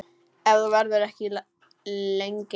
Ef þú verður ekki lengi.